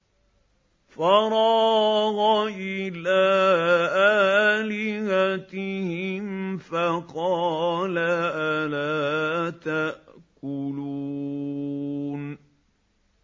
فَرَاغَ إِلَىٰ آلِهَتِهِمْ فَقَالَ أَلَا تَأْكُلُونَ